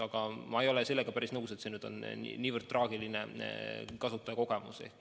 Aga ma ei ole sellega päris nõus, et see on nii traagiline kasutajakogemus.